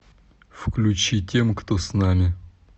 включи тем кто с нами